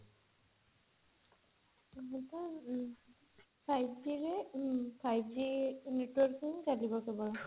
ଏବେ ତ ଉଁ five G ରେ five G network ରେ ଚାଲିଛି ସବୁ